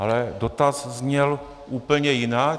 Ale dotaz zněl úplně jinak.